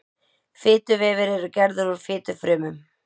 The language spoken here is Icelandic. Fituvefir eru gerðir úr fitufrumum.